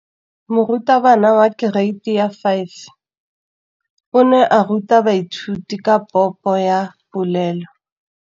Moratabana wa kereiti ya 5 o ne a ruta baithuti ka popô ya polelô.